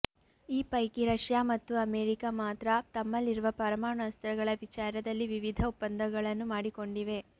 ಈ ಪೈಕಿ ರಷ್ಯಾ ಮತ್ತು ಅಮೆರಿಕ ಮಾತ್ರ ತಮ್ಮಲ್ಲಿರುವ ಪರಮಾಣು ಅಸ್ತ್ರಗಳ ವಿಚಾರದಲ್ಲಿ ವಿವಿಧ ಒಪ್ಪಂದಗಳನ್ನು ಮಾಡಿಕೊಂಡಿವೆ